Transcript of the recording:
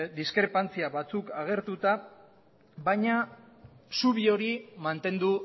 diskrepantzia batzuk agertuta baina zubi hori mantendu